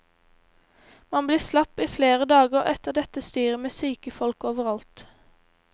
Man blir slapp i flere dager etter dette styret med syke folk overalt.